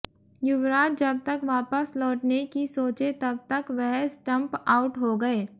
युवराज जब तक वापस लौटने की सोचे तब तक वह स्टंप आउट हो गए